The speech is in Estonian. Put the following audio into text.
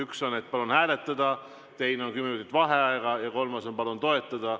Üks on, et palun hääletada, teine on, et kümme minutit vaheaega, ja kolmas on, et palun toetada.